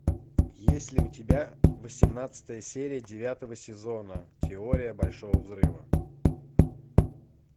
есть ли у тебя восемнадцатая серия девятого сезона теория большого взрыва